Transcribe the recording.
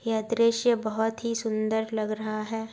यह दृश्य बहोत ही सुंदर लग रहा है।